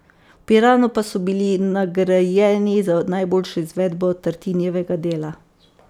V Piranu pa so bili nagrajeni za najboljšo izvedbo Tartinijevega dela.